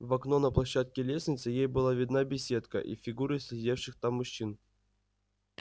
в окно на площадке лестницы ей была видна беседка и фигуры сидевших там мужчин